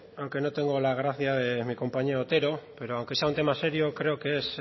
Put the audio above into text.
aunque no tengo la gracia de mi compañero otero pero aunque sea un tema serio creo que es